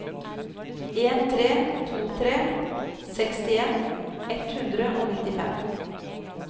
en tre to tre sekstien ett hundre og nittifem